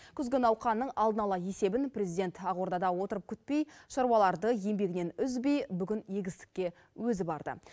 күзгі науқанның алдын ала есебін президент ақордада отырып күтпей шаруаларды еңбегінен үзбей бүгін егістікке өзі барды